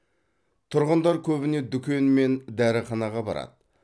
тұрғындар көбіне дүкен мен дәріханаға барады